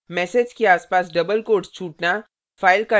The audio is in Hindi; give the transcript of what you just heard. message के आसपास double quotes छूटना